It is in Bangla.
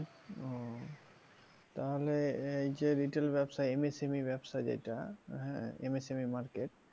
ওহ তাহলে এইযে retail ব্যাবসা ব্যাবসাযেটা হ্যাঁ market